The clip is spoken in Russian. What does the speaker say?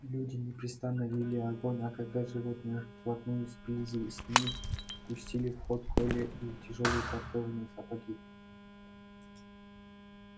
люди непрестанно вели огонь а когда животные вплотную сблизились с ними пустили в ход колья и тяжёлые подкованные сапоги